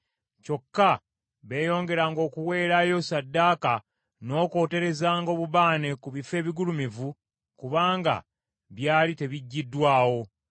Kyokka beeyongeranga okuweerayo ssaddaaka n’okwoterezanga obubaane ku bifo ebigulumivu kubanga byali tebiggyiddwawo.